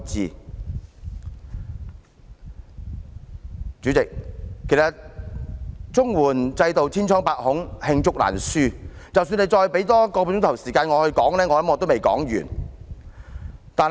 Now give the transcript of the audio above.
代理主席，其實綜援制度千瘡百孔，罄竹難書，即使多給我半小時發言，相信也未能說完。